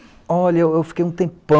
Olha, eu fiquei um tempão...